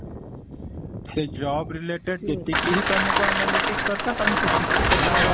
ସେ job related ଯେତିକି ହିଁ ତମକୁ analytics ଦରକାର ତମେ ସେତିକି ହିଁ ତାର